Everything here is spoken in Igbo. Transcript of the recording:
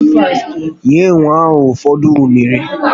Nye enwe ahụ ụfọdụ unere